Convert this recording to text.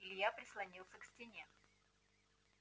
илья прислонился к стене